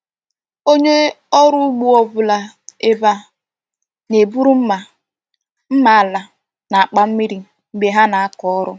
Onye ọrụ ugbo ọ bụla ebe a na-eburu mma, mma ala, na akpa mmiri mgbe ha na-akọọrụ.